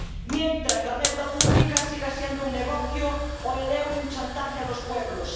mientras la deuda pública siga siendo un negocio o el euro un chantaje a los pueblos